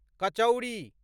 कचौड़ी